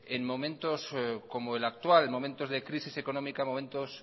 en momentos como la actual momentos de crisis económica momentos